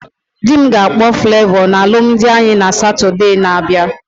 Dị m ga-akpọ Flavọ na alụmdi anyị na Satode na abịa